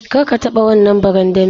Kar ka taba wannan barandami.